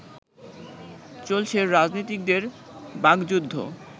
চলছে রাজনীতিকদের বাগযুদ্ধ